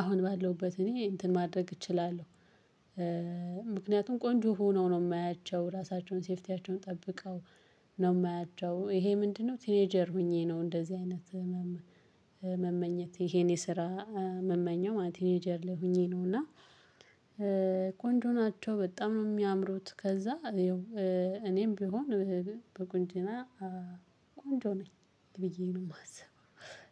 አሁን ባለውበት እኔ እንትን ማድረግ እችላለሁ። ምክንያቱም ቆንጆ ሆነው ነው የማያቸው ራሳቸውን ሴፍቲያቸውን ጠብቀው ነው የማያቸው። ይሄ ምንድነው? ቲኔጀር ሆኜ ነው እንደዚህ አይነት መመኘት ይሄን የስራ እምመኘው ማለት ቲኔጀር ላይ ሆኜ ነው። እና ቆንጆ ናቸው በጣም ነው የሚያምሩት። ከዛ እኔም ቢሆን በቁንጅና ቆንጆ ነኝ ብዬ ነው የማስበው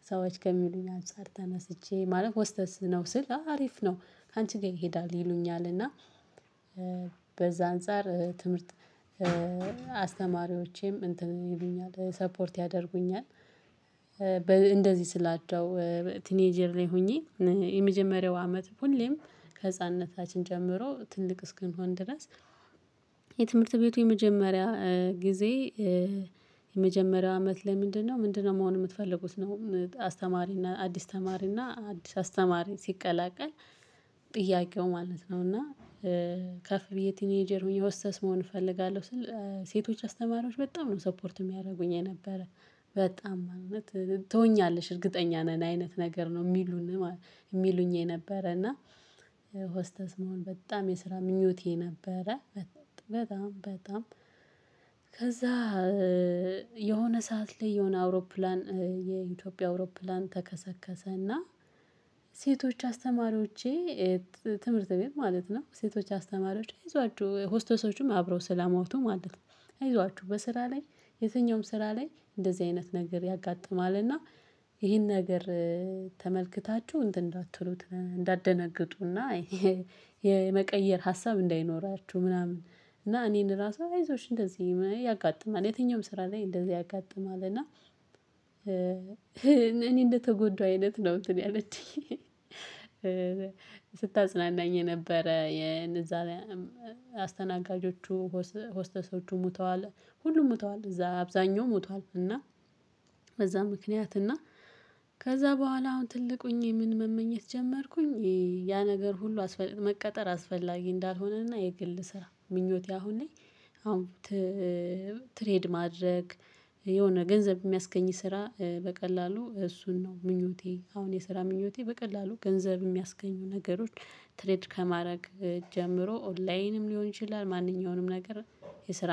ሰዎች ከሚሉኝ አንፃር ተነስቼ ማለት ሆስተስ ነው ስል አሪፍ ነው። ካንቺ ጋር ይሄዳል ይሉኛል እና። በዛ አንፃር ትምህርት አስተማሪወቸም እንትን ይሉኛል ሰፖርት ያደርጉኛል። እንደዚህ ስላቸው ቲኔጀር ላይ ሁኚ የመጀመሪያው አመት ሁሌም ከህፃንነታችን ጀምሮ ትልቅ እስክንሆን ድረስ። የትምህርት ቤቱ የመጀመሪያ ጊዜ የመጀመሪያው አመት ለምንድነው? ምንድነው መሆን የምትፈልጉት ነው። አስተማሪና አዲስ ተማሪና አዲስ አስተማሪ ሲቀላቀል ማለት ነው። እና ከፍ ብዬ ቲኔጀር የወሰስ መሆን እፈልጋለሁ ስል ሴቶች አስተማሪዎች በጣም ነው ሰፖርት የሚያደርጉኝ የነበረ። በጣም እውነት ትሆኛለሽ እርግጠኛ ነን አይነት ነገር ነው የሚሉኝ። የሚሉኝ የነበረ እና ሆስተስ መሆን በጣም የስራ ምኞቴ ነበረ። በጣም በጣም ከዛ የሆነ ሰዓት ላይ የሆነ አውሮፕላን የኢትዮጵያ አውሮፕላን ተከሰከሰ። እና ሴቶች አስተማሪዎቼ ትምህርት ቤት ማለት ነው ሴቶች አስተማሪዎች አይዟችሁ ሆስተሶቹም አብረው ስላሞቱ ማለት ነው። አይዟችሁ በስራ ላይ የትኛውም ስራ ላይ እንደዚህ አይነት ነገር ያጋጥማልና። ይሄን ነገር ተመልክታችሁ እንትን እንዳትሉት እንዳትደነግጡና የመቀየር ሀሳብ እንዳይኖራችሁ ምናምን። እና እኔን ራሱ አይዞሽ እንደዚህ ያጋጥማል የትኛውም ስራ ላይ እንደዚህ ያጋጥማል እና። እኔ እንደተጎዳሁ አይነት ነው እንትን ያለችኝ። ስታጽናናኝ ነበረ የነዛ አስተናጋጆቹ ሆስተሰዎቹ ሙተዋል። ሁሉም ሙተዋለ እዛ አብዛኛው ሙተዋለ እና። በዛ ምክንያት እና ከዛ በኋላ አሁን ትልቁኝ ምን መመኘት ጀመርኩኝ ያ ነገር ሁሉ መቀጠር አስፈላጊ እንዳልሆነና የግል ስራ ምኞቴ አሁን ላይ። አሁን ትሬድ ማድረግ የሆነ ገንዘብ የሚያስገኝ ስራ በቀላሉ እሱን ነው ምኞቴ አሁን የስራ ምኞቴ በቀላሉ ገንዘብ የሚያስገኙ ነገሮች ትሬድ ከማድረግ ጀምሮ ኦንላይንም ሊሆን ይችላል። ማንኛውንም ነገር የስራ